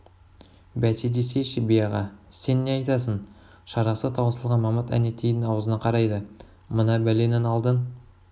бәсе десейші би аға сен не айтасың шарасы таусылған мамыт әнетейдің аузына қарайды мына бәленің алдын